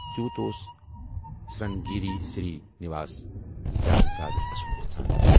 تیٛوٗت اوس سِرٛنٛگیری سِرٛی نِواس زیادٕ زیادٕ اَسُن یَژھان۔